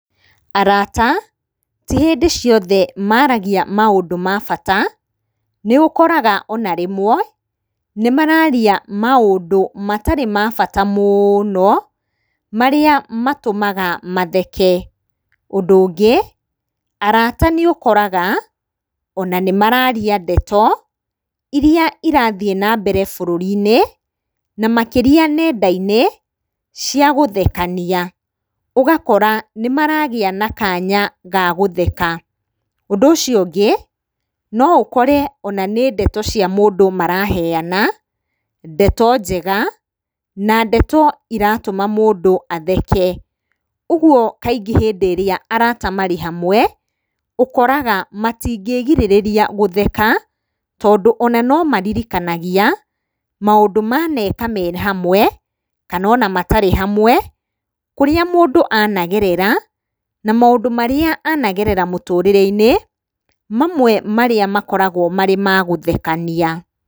Arata, ti hĩndĩ ciothe maragia maũndũ ma bata, nĩũkoraga ona rĩmwe nĩ mararia maũndũ matarĩ ma bata mũno, marĩa matũmaga matheke. Ũndũ ũngĩ, arata nĩũkoraga ona nĩmararia ndeto irĩa irathiĩ nambere bũrũri-inĩ na makĩria nenda-inĩ, cia gũthekania ũgakora nĩmaragĩa na kanya gagũtheka. Ũndũ ũcio ũngĩ no ũkore ona nĩ ndeto cia mũndũ maraheana, ndeto njega, na ndeto iratũma mũndũ atheke, ũguo kaingĩ hĩndĩ ĩrĩa arata marĩ hamwe, ũkoraga matingĩgirĩrĩria gũtheka, tondũ ona nomeririkanagia maũndũ maneka me hamwe, kana ona matarĩ hamwe, kũrĩa mũndũ anagerera na maũndũ marĩa anagerera mũtũrĩre-inĩ, mamwe marĩa makoragwo marĩ magũthekania.